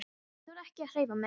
Ég þorði ekki að hreyfa mig.